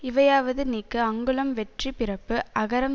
இவையாவது நீக்கு அங்குளம் வெற்றி பிறப்பு அகரம்